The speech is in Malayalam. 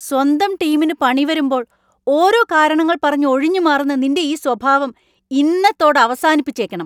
സ്വന്തം ടീമിന് പണി വരുമ്പോൾ ഓരോ കാരണങ്ങൾ പറഞ്ഞ് ഒഴിഞ്ഞുമാറുന്ന നിൻ്റെ ഈ സ്വഭാവം ഇന്നത്തോടെ അവസാനിപ്പിച്ചേക്കണം.